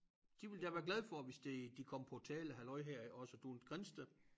De ville da være glade for hvis det de kom på tale halløj her også du en Grindsted